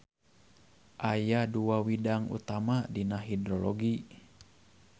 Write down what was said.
Aya dua widang utama dina hidrologi.